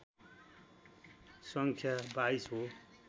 सङ्ख्या २२ हो